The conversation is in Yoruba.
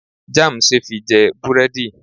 Jam see fi je buredi